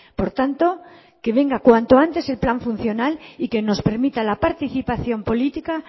por tanto que venga cuanto antes el plan funcional y que nos permita la participación política